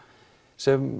sem